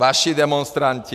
Vaši demonstranti!